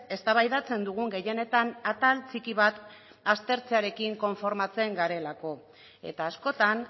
eztabaidatzen dugun gehienetan atal txiki bat aztertzearekin konformatzen garelako eta askotan